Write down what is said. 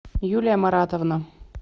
юлия маратовна